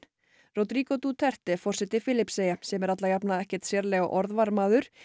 Rodrigo Duterte forseti Filippseyja sem er alla jafna ekkert sérlega orðvar maður